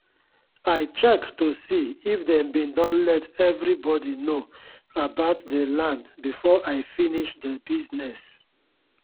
i check to see if dem bin don let everi body know about dey land before i finis dey bisness